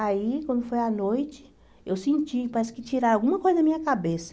Aí, quando foi à noite, eu senti, parece que tiraram alguma coisa da minha cabeça.